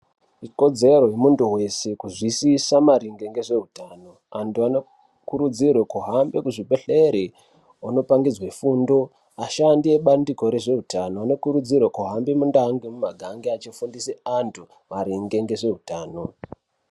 Ikodzero yemuntu weshe kuzvisiisa maringe ngezveutano. Antu anokurudzirirwe kuhamba kuzvibhehlere onopangidzwe fundo. Ashandi ebandiko rezveutano anokurudzirwe kuhambe mundau nemumiganga eifundise antu maringe ngezveutano.